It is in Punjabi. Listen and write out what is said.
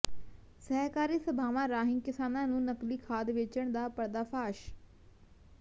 ਸਹਿਕਾਰੀ ਸਭਾਵਾਂ ਰਾਹੀਂ ਕਿਸਾਨਾਂ ਨੂੰ ਨਕਲੀ ਖਾਦ ਵੇਚਣ ਦਾ ਪਰਦਾਫ਼ਾਸ਼